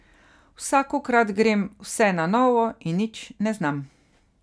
Vsakokrat grem vse na novo in nič ne znam.